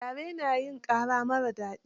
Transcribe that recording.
Gyare na hin ƙara marar daɗi.